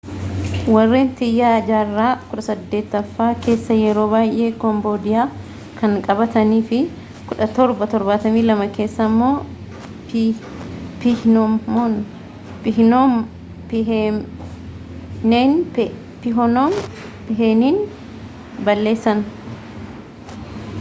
warreen tiyaa jaarraa 18ffaa keessa yeroo baayee kombodiyaa kan qabatanii fi 1772 keessa immoo piihnoom piheeniin balleessan